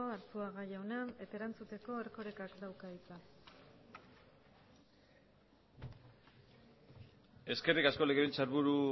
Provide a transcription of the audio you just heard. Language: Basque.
arzuaga jauna eta erantzuteko erkorekak dauka hitza eskerrik asko legebiltzarburu